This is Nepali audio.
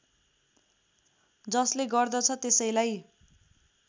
जसले गर्दछ त्यसैलाई